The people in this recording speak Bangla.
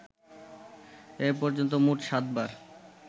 এ পর্যন্ত মোট সাত বার